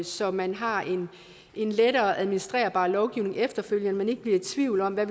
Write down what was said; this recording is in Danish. så man har en lettere administrerbar lovgivning efterfølgende og ikke bliver i tvivl om hvad